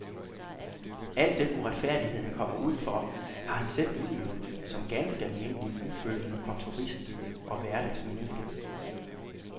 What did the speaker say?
Al den uretfærdighed han kommer ud for, har han selv udøvet, som ganske almindelig, ufølende kontorist og hverdagsmenneske.